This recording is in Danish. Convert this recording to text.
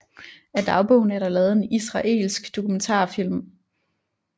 Af dagbogen er der lavet en israelsk dokumentarfilm